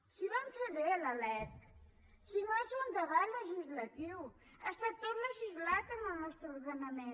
si vam fer bé la lec si no és un debat legislatiu està tot legislat en el nostre ordenament